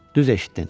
Düz eşitdin.